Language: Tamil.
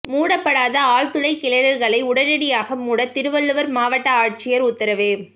மூடப்படாத ஆழ்துளை கிணறுகளை உடனடியாக மூட திருவள்ளூர் மாவட்ட ஆட்சியர் உத்தரவு